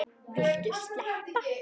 Viltu sleppa!